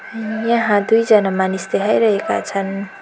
उम यहाँ दुईजना मानिस देखाइरहेका छन्।